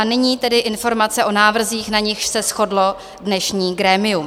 A nyní tedy informace o návrzích, na nichž se shodlo dnešní grémium.